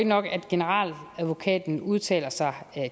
nok at generaladvokaten udtaler sig